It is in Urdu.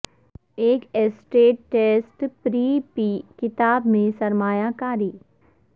ایک ایسیٹ ٹیسٹ پری پی کتاب میں سرمایہ کاری